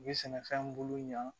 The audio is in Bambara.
U bɛ sɛnɛfɛn bolo ɲan